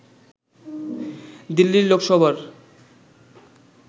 দিল্লির লোকসভার